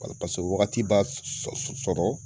Paseke o waagati b'a sɔrɔ.